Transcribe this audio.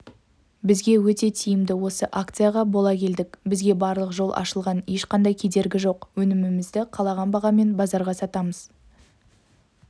бізге өте тиімді осы акцияға бола келдік бізге барлық жол ашылған ешқандай кедергі жоқ өнімімізді қалаған бағамен базарға сатамыз